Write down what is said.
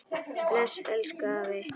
Bless, elsku afi.